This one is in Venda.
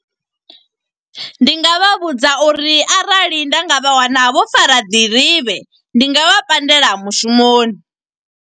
Ndi nga vha vhudza uri arali nda nga vha wana vho fara nḓirivhe, ndi nga vha pandela mushumoni.